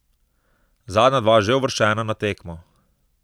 Zadnja dva že uvrščena na tekmo.